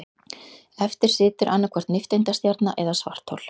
Eftir situr annaðhvort nifteindastjarna eða svarthol.